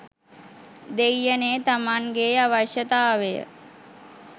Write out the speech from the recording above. දෙයියනේ තමන්ගෙ අවශ්‍යතාවය